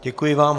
Děkuji vám.